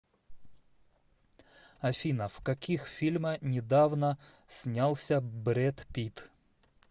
афина в каких фильма недавно снялся бред питт